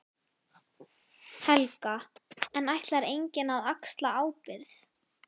Helga: En ætlar enginn að axla ábyrgð?